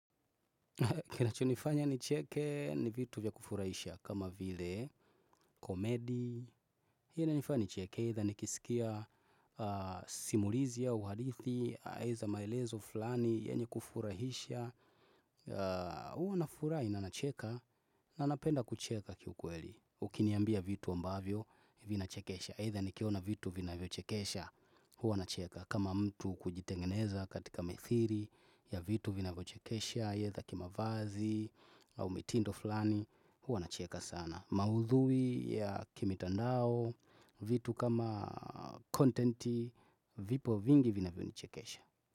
Kinachonifanya nicheke ni vitu vya kufurahisha kama vile, komedi, hii inanifanya nicheke, either nikisikia simulizi au hadithi, eza maelezo fulani, yenye kufurahisha, huwa na furaha na ninacheka, na napenda kucheka kiukweli, ukiniambia vitu ambavyo vina chekesha, either nikiona vitu vinavyo chekesha, huwa nacheka. Kama mtu kujitengeneza katika methiri ya vitu vinavyo chekesha either kimavazi au mitindo fulani huwa na cheka sana maudhui ya kimitandao vitu kama kontenti Vipo vingi vinavyo ni chekesha.